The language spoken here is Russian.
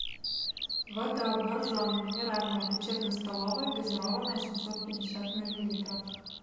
вода боржоми минеральная лечебно столовая газированная семьсот пятьдесят миллилитров